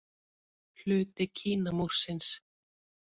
Hluti Kínamúrsins.